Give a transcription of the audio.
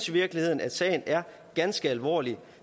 virkeligheden at sagen er ganske alvorlig